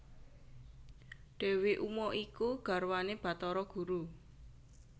Dewi Uma iku garwane Bathara Guru